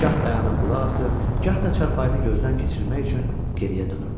Gah dayanıb qulaq asır, gah da çarpayını gözdən keçirmək üçün geriyə dönürdü.